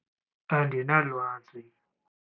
Andinalwazi.